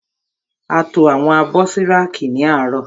A to àwọn abọ́ sí rákì ní àárọ̀.